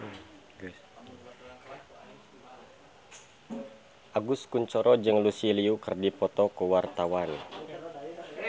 Agus Kuncoro jeung Lucy Liu keur dipoto ku wartawan